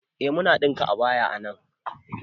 Eh muna ɗinka abaya a nan